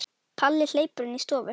Palli hleypur inn í stofu.